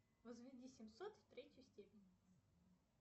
возведи семьсот в третью степень